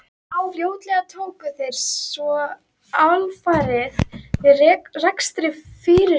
Fljótlega tóku þeir svo alfarið við rekstri fyrirtækisins.